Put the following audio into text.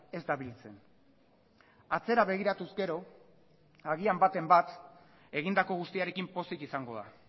ez da biltzen atzera begiratuz gero agian batean bat egindako guztiarekin pozik izango da